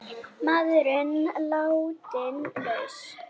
Maðurinn látinn laus